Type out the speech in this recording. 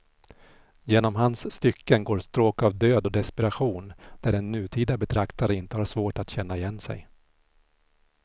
Genom hans stycken går stråk av död och desperation där en nutida betraktare inte har svårt att känna igen sig.